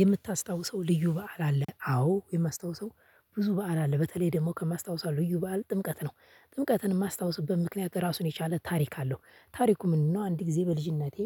"የምታስታውሰው ልዩ በዓል አለ?" አዎ የማስታውሰው ብዙ በዓል አለ። በተለይ ደግሞ ከማስታውሰው ልዩ በዓል ጥምቀት ነው። ጥምቀትን የማስታውስበት ምክንያት ራሱን የቻለ ታሪክ አለው። ታሪኩ ምንድነው አንድ ጊዜ በልጅነቴ